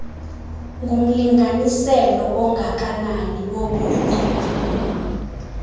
ngumlinganiselo ongakanani wobunye